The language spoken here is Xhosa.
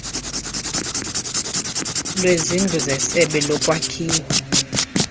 lwezindlu zesebe lolwakhiwo